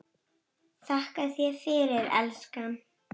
Þakka þér fyrir, elskan.